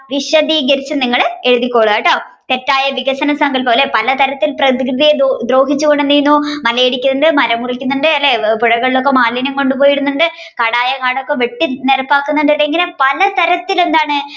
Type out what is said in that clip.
വിശധികരിച്ഛ് നിങ്ങൾ എഴുതി കൊള്ളുക കേട്ടോ തെറ്റായാ വികസന സങ്കൽപം അല്ലെ പല തരത്തിൽ പ്രകൃതിയെ ദ്രോഹിച്ചു കൊണ്ട് എന്ത് ചെയ്യുന്നു മലയിടിക്കുന്നതുണ്ട് മരംമുറിക്കന്നതുണ്ട് പുഴകളിലൊക്കെ മാലിന്യം കൊണ്ട് ഇടുന്നുണ്ട് കാടായ കാടൊക്കെ വെട്ടി നിരപ്പാക്കുന്നുണ്ട് ഇങ്ങനെ പലതരത്തിൽ എന്താണ്